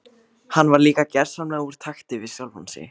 Hann var líka gersamlega úr takti við sjálfan sig.